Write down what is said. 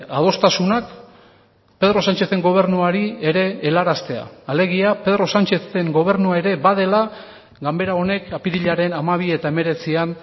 adostasunak pedro sánchezen gobernuari ere helaraztea alegia pedro sánchezen gobernua ere badela ganbera honek apirilaren hamabi eta hemeretzian